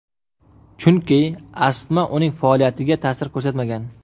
Chunki astma uning faoliyatiga ta’sir ko‘rsatmagan.